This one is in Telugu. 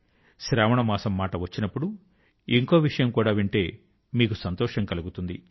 శ్రావణ మాసం మాట వచ్చినప్పుడు ఇంకో విషయం కూడా వింటే మీకు సంతోషం కలుగుతుంది